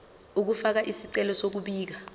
ukufaka isicelo sokubika